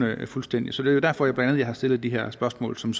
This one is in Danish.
fuldstændig så det derfor at jeg har stillet de her spørgsmål som